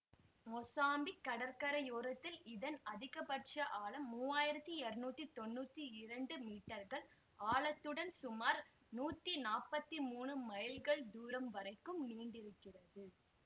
Mozambique கடற்கரையோரத்தில் இதன் அதிகபட்ச ஆழம் மூன்று ஆயிரத்தி இருநூற்றி தொன்னூற்தி இரண்டு மீட்டர்கள் ஆழத்துடன் சுமார் நூற்றி நாற்பத்தி மூணு மைல்கள் தூரம் வரைக்கும் நீண்டிருக்கிறது